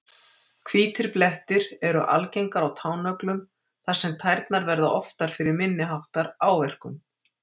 Hvítir blettir eru algengari á tánöglum þar sem tærnar verða oftar fyrir minni háttar áverkum.